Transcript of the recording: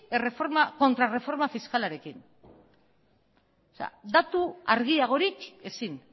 kontraerreforma fiskalarekin datu argiagorik ezin